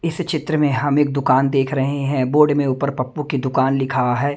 इस चित्र में हम एक दुकान देख रहे हैं बोर्ड में ऊपर पप्पू की दुकान लिखा है।